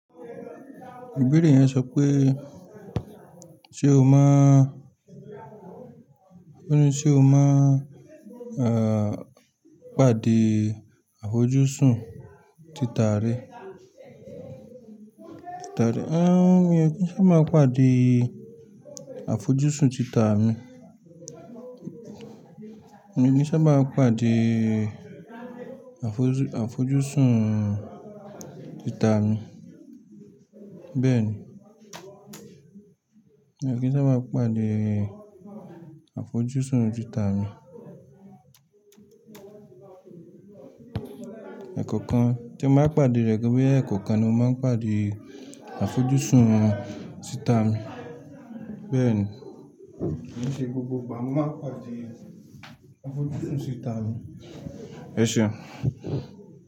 Ìbéèrè yẹn sọ pé ṣe o máa, ó ní ṣe o máa n pàdé àfojúsùn títà rẹ? Mi o kin sába pàdé àfojúsùn títà mi. Mii saba pàdé àfoju-àfojúsùn títà mi. Bẹ́ẹ̀ ni. Mi o kin sabá pàdé àfojúsùn títà mi. Ẹ̀kọ̀okan tí n bá pàdé rẹ̀ pe boya ẹ̀kọ̀okan ni mo máa ń pàdé àfojúsùn tita mi. Bẹ́ẹ̀ ni. Kí ni ṣe gbogbo igbá mo máa ń pàdé àfojúsùn títà mi. Ẹ ṣeun.